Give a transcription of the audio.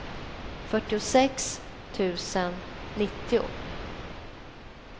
fyrtiosex tusen nittio